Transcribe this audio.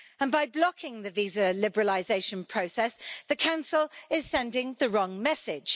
By blocking the visa liberalisation process, the Council is sending the wrong message.